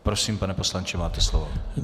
Prosím, pane poslanče, máte slovo.